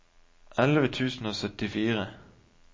elleve tusen og syttifire